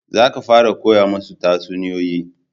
Za ka fara koya musu tatsuniyoyi